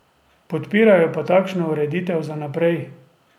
Podpirajo pa takšno ureditev za naprej.